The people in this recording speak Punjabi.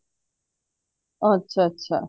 ਅੱਛਾ ਅੱਛਾ